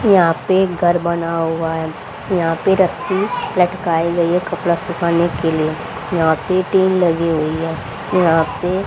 यहां पे घर बना हुआ है यहां पे रस्सी लटकाई गई है कपड़ा सुखाने के लिए यहां पे टीन लगी हुई है यहां पे--